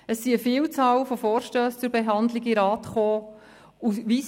Es ist eine Vielzahl von Vorstössen zur Behandlung in den Rat gekommen.